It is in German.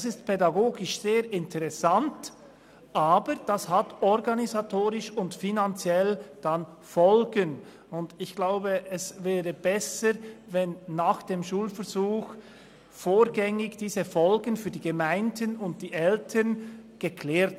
Das ist pädagogisch sehr interessant, es hat aber dann organisatorisch und finanziell Folgen, und ich glaube, es wäre besser, diese Folgen würden nach dem Schulversuch vorgängig für die Gemeinden und die Eltern geklärt.